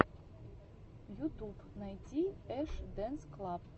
ютуб найти эш дэнс клаб